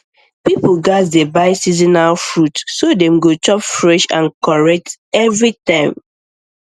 people gats dey buy seasonal fruit so dem go chop fresh and correct every time